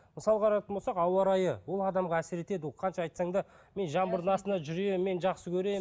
мысалы қарайтын болсақ ауа райы ол адамға әсер етеді ол қанша айтсаң да мен жаңбырдың астында жүремін мен жақсы көремін